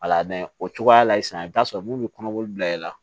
o cogoya la sisan i bɛ taa sɔrɔ mun bɛ kɔnɔboli bila i la